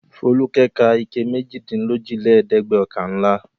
Folúkẹ́ ka ike méjìdínlójìlẹ́ẹ̀dẹ́gbẹ̀ọ̀kànlá.